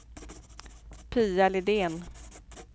Pia Lidén